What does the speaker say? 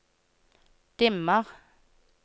dimmer